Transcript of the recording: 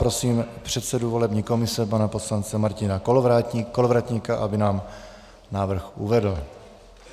Prosím předsedu volební komise pana poslance Martina Kolovratníka, aby nám návrh uvedl.